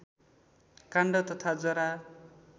काण्ड तथा जरा